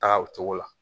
Taa o cogo la